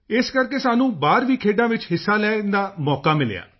ਇਸ ਕਰਕੇ ਸਾਨੂੰ ਬਾਹਰ ਵੀ ਖੇਡਾਂ ਵਿੱਚ ਹਿੱਸਾ ਲੈਣ ਦਾ ਮੌਕਾ ਮਿਲਿਆ